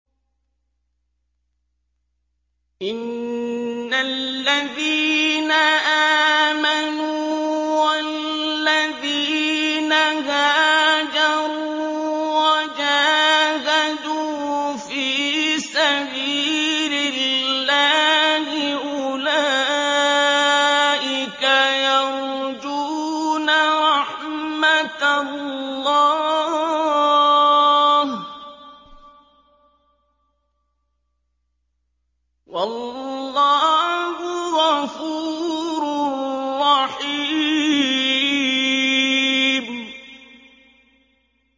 إِنَّ الَّذِينَ آمَنُوا وَالَّذِينَ هَاجَرُوا وَجَاهَدُوا فِي سَبِيلِ اللَّهِ أُولَٰئِكَ يَرْجُونَ رَحْمَتَ اللَّهِ ۚ وَاللَّهُ غَفُورٌ رَّحِيمٌ